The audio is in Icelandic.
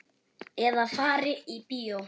Eða fari í bíó.